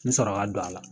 N sɔrɔ ka don a la